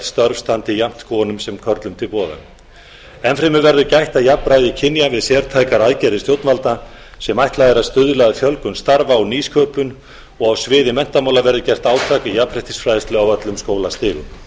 störf standi jafnt konum sem körlum til boða enn fremur verður gætt að jafnræði kynja við sértækar aðgerðir stjórnvalda sem ætlað er að stuðla að fjölgun starfa og nýsköpun og á sviði menntamála verði gert átak í jafnréttisfræðslu á öllum skólastigum áfram